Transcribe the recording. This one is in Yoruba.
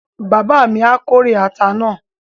Bàbá mi á kórè ata náà